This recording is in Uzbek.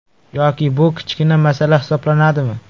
Yoki bu kichkina masala hisoblanadimi?